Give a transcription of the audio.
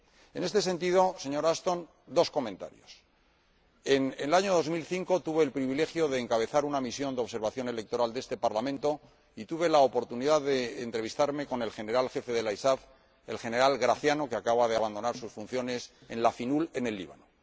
En este sentido, señora Ashton, dos comentarios en el año 2005, tuve el privilegio de encabezar una misión de observación electoral de este Parlamento y tuve la oportunidad de entrevistarme con el General Jefe de la ISAF, el General Graciano, que acaba de abandonar sus funciones en la FPNUL, en el Líbano.